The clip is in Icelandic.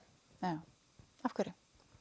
af hverju